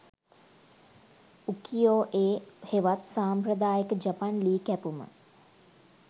උකියොඑ හෙවත් සම්ප්‍රදායික ජපන් ලී කැපුම